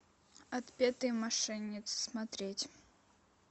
отпетые мошенницы смотреть